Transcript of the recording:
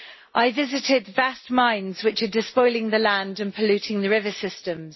I visited vast mines which are despoiling the land and polluting the river systems.